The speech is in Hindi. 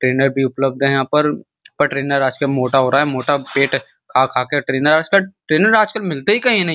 ट्रेनर भी उपलब्ध है यहाँ पर और ट्रेनर भी मोटा हो रहा है मोटा पेट खा-खा कर ट्रेनर आज ट्रेनर कल मिलते ही कहीं नहीं।